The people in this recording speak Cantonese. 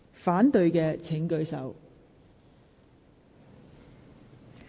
反對的請舉手。